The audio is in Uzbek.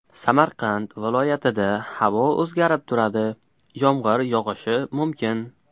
Samarqand viloyatida havo o‘zgarib turadi, yomg‘ir yog‘ishi mumkin.